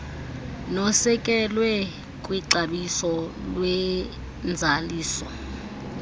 nosekelwe kwixabiso lwenzaliso